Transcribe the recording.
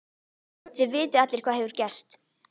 Þið vitið allir hvað hefur gerst.